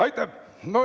Aitäh!